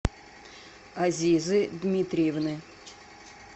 азизы дмитриевны